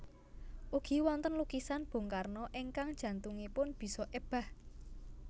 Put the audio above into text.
Ugi wonten lukisan Bung Karno ingkang jantungipun bisa ebah